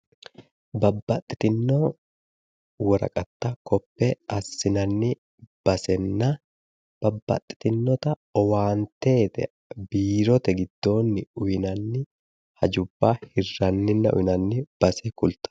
babbaxitino woraqatta koppe assinanni basenna babbaxitinnota owaante biirote giddoonni uyiinanni hajubbanna uyiinanninna hirranni base kultanno.